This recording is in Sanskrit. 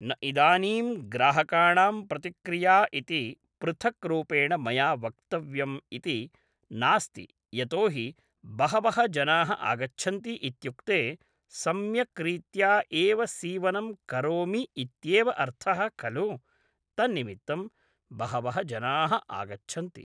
न इदानीं ग्राहकाणां प्रतिक्रिया इति पृथक् रूपेण मया वक्तव्यम् इति नास्ति यतो हि बहवः जनाः आगच्छन्ति इत्युक्ते सम्यक् रीत्या एव सीवनं करोमि इत्येव अर्थः खलु तन्निमित्तं बहवः जनाः आगच्छन्ति